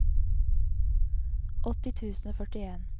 åtti tusen og førtien